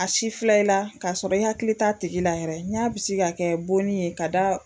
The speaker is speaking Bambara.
A si filɛ i la k'a sɔrɔ i hakili t'a tigi la yɛrɛ n y'a bisigi ka kɛ bonni ye ka da